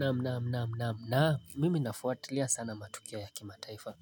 Naam naam naam naam naam mimi nafuatilia sana matukia ya kimataifa